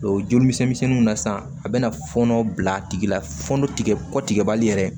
O joli misɛnminw na sisan a bɛna fɔɔnɔ bila a tigi la fɔnɔ tigɛ kɔ tigɛbali yɛrɛ